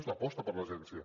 és l’aposta per l’agència